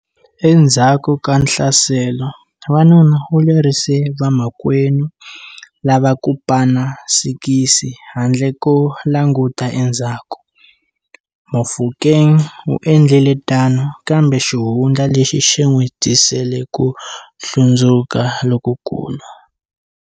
Endzhaku ka nhlaselo, wanuna u lerisile vamakwenu lava ku pana sikisi handle ko languta endzhaku. Mofokeng u endlile tano kambe xihundla lexi xi n'wi tisele ku hlundzuka lokukulu.